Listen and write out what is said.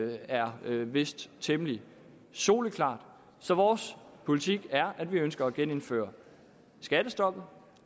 er vist temmelig soleklart så vores politik er at vi ønsker at genindføre skattestoppet